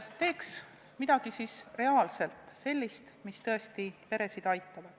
Teeks midagi reaalset, sellist, mis tõesti peresid aitab.